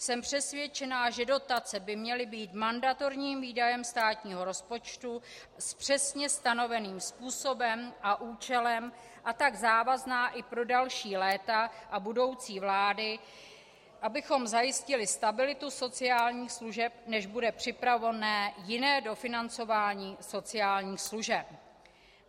Jsem přesvědčená, že dotace by měla být mandatorním výdajem státního rozpočtu s přesně stanoveným způsobem a účelem, a tak závazná i pro další léta a budoucí vlády, abychom zajistili stabilitu sociálních služeb, než bude připravené jiné dofinancování sociálních služeb.